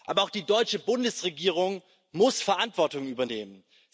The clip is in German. Aber auch die deutsche Bundesregierung muss Verantwortung übernehmen.